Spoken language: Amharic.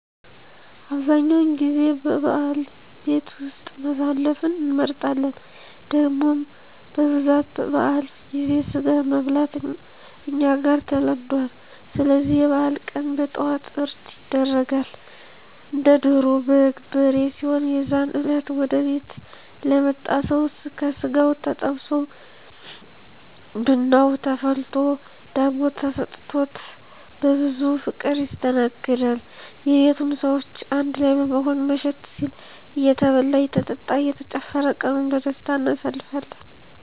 አብዛኛውን ጊዜ በበዓል ቤት ውስጥ ማሳለፍን እንመርጣለን። ደሞም በብዛት በበዓል ጊዜ ስጋን መብላት እኛ ጋር ተለምዱአል ስለዚህ የበዓል ቀን በጠዋት እርድ ይደረጋል። እንደ ዶሮ፣ በግ፣ በሬ ሲሆኑ የዛን እለት ወደ ቤት ለመጣ ሰው ከስጋው ተጠብሶ ብናው ተፈልቶ ዳቦ ተሰጥቾት በብዙ ፍቅር ይስተናገዳል። የቤቱም ሰዎች አንድ ላይ በመሆን መሸት ሲል እየተበላ እየተጠጣ እየተጨፈረ ቀኑን በደስታ አናሳልፋለን።